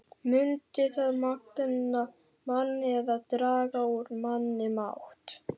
Mundi það magna mann eða draga úr manni mátt?